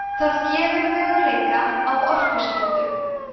það gefur möguleika á orkuskiptum